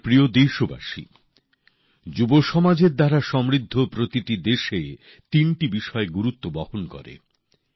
আমার প্রিয় দেশবাসী যুব সমাজের দ্বারা সমৃদ্ধ প্রতিটি দেশে তিনটি বিষয় গুরুত্ব বহন করে